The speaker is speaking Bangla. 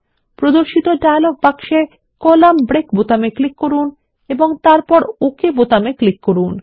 প্রদর্শিত ডায়লগ বক্সে কলাম ব্রেক বোতামে ক্লিক করুন এবং তারপর ওকে বাটনে ক্লিক করুন